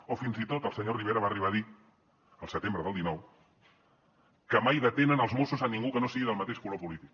o fins i tot el senyor rivera va arribar a dir al setembre del dinou que mai detenen els mossos a ningú que no sigui del mateix color polític